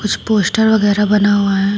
कुछ पोस्टर वगैरह बना हुआ है।